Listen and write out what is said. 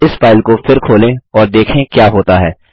अब इस फाइल को फिर खोलें और देखें क्या होता है